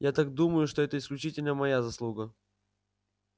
я так думаю что это исключительно моя заслуга